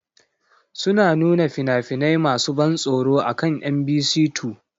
Suna nuna fina-finai masu ban tsoro akan Mbc 2.